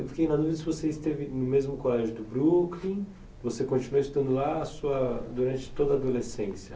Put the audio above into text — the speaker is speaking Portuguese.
Eu fiquei na dúvida se você esteve no mesmo colégio do Brooklyn, você continuou estudando lá sua durante toda a adolescência.